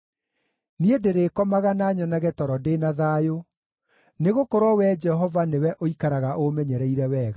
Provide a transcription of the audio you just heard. Niĩ ndĩrĩkomaga na nyonage toro ndĩ na thayũ, nĩgũkorwo Wee Jehova nĩwe ũikaraga ũũmenyereire wega.